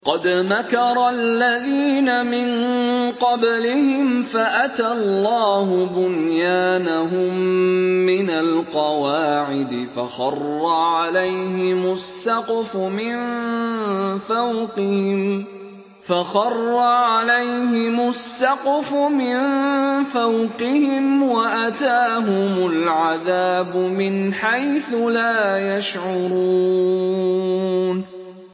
قَدْ مَكَرَ الَّذِينَ مِن قَبْلِهِمْ فَأَتَى اللَّهُ بُنْيَانَهُم مِّنَ الْقَوَاعِدِ فَخَرَّ عَلَيْهِمُ السَّقْفُ مِن فَوْقِهِمْ وَأَتَاهُمُ الْعَذَابُ مِنْ حَيْثُ لَا يَشْعُرُونَ